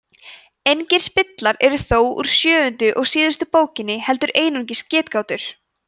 engir spillar eru þó úr sjöundu og síðustu bókinni heldur einungis getgátur